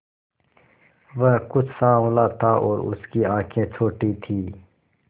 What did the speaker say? वह कुछ साँवला था और उसकी आंखें छोटी थीं